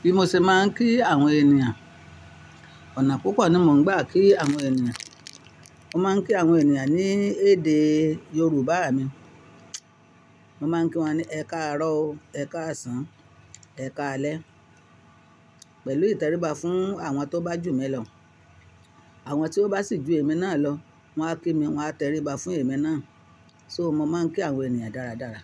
Bí mo ṣe máa ń kí àwọn ènìyàn? Ọ̀nà púpọ̀ ni mo ń gbà kí àwọn ènìyàn. Mo máa ń kí àwọn ènìyàn ní èdè Yorùbá mi. Mo máa ń kí wọn ní, "Ẹ káàárọ̀ o", "Ẹ káàsán", "Ẹ káalẹ́" pẹ̀lú ìtẹríba fún àwọn tó bá jù mí lọ. Àwọn tí wọ́n bá sì ju èmi náà lọ, wọ́n á kí mi wọ́n á tẹríba fún èmi náà. So mo máa ń kí àwọn ènìyàn dáradára.